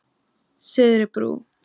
Syðri Brú